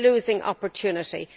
We are losing opportunities.